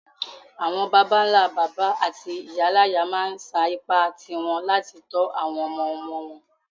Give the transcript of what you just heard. Àwon bàbánlá-bàbá áti ìyáláyá ma n sa ipá ti won láti to àwon ọmọ-ọmọ won